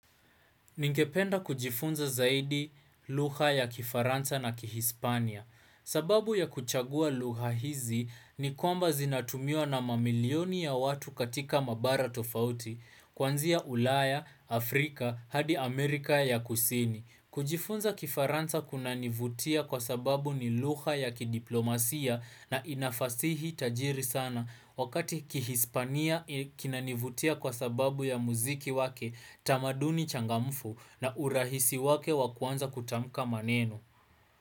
Ningependa kujifunza zaidi lugha ya kifaransa na kihispania. Sababu ya kuchagua lugha hizi ni kwamba zinatumiwa na mamilioni ya watu katika mabara tofauti. Kwanzia ulaya, Afrika, hadi Amerika ya kusini. Kujifunza kifaransa kunanivutia kwa sababu ni lugha ya kidiplomasia na inafasihi tajiri sana. Wakati kihispania kinanivutia kwa sababu ya muziki wake tamaduni changamfu na urahisi wake wa kuanza kutamuka maneno.